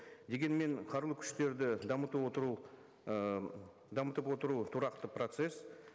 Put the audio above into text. дегенмен қарулы күштерді дамыту отыру ы дамытып отыру тұрақты процесс